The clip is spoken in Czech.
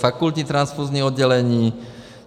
Fakultní transfuzní oddělení.